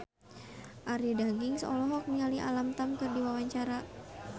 Arie Daginks olohok ningali Alam Tam keur diwawancara